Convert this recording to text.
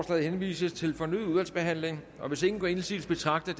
henvises til fornyet udvalgsbehandling hvis ingen gør indsigelse betragter